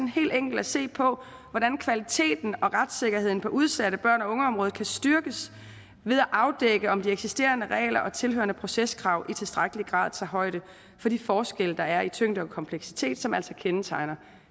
helt enkelt at se på hvordan kvaliteten og retssikkerheden på udsatte børn og unge området kan styrkes ved at afdække om de eksisterende regler og tilhørende proceskrav i tilstrækkelig grad tager højde for de forskelle der er i tyngde og kompleksitet som altså kendetegner